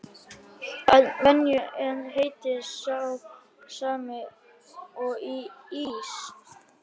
Að venju er hitinn sá sami og í ís